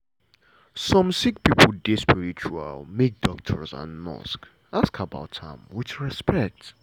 some sick pipo dey spiritual make doctor and nurse ask about am wit respect.